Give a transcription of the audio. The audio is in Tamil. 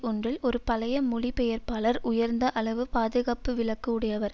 ஒன்றில் ஒரு பழைய மொழிபெயர்ப்பாளர் உயர்ந்த அளவு பாதுகாப்பு விலக்கு உடையவர்